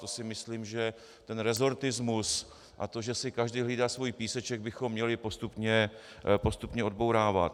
To si myslím, že ten resortismus a to že si každý hlídá svůj píseček, bychom měli postupně odbourávat.